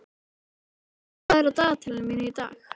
Róselía, hvað er á dagatalinu mínu í dag?